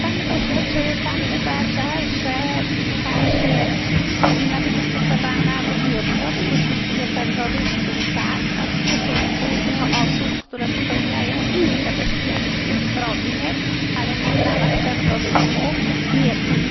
Panie pośle, czy uważa pan, że kara śmierci powinna być stosowana w wybiórczo w stosunku do terrorystów tak, a w stosunku do osób, które popełniają inne bestialskie zbrodnie, ale nie w ramach terroryzmu,